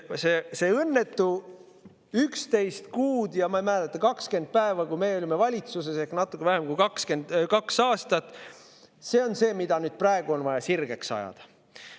See õnnetu 11 kuud ja, ma ei mäleta, 20 päeva, natuke vähem kui kaks aastat, kui me olime valitsuses, on see, mida nüüd on vaja sirgeks ajada.